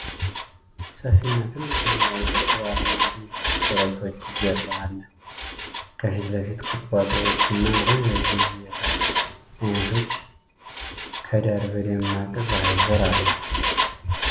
ሰፊና ጥልቅ ሰማያዊ ሐይቅ በአረንጓዴ ኮረብቶች ጀርባ አለ። ከፊት ለፊት፣ ቁጥቋጦዎች እና ረዣዥም የሳር አይነቶች ከዳር ዳር በደማቅ ፀሐይ ስር አለ።